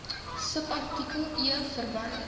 subartikel e verwys